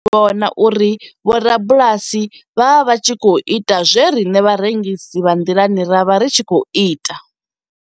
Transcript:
Ndo dovha nda zwi vhona uri vhorabulasi vho vha vha tshi khou ita zwe riṋe vharengisi vha nḓilani ra vha ri tshi khou ita.